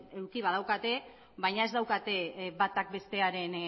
eduki badaukate baina ez daukate batak bestearen